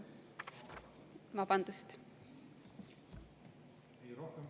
Vabandust!